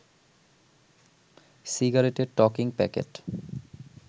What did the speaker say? সিগারেটের টকিং প্যাকেট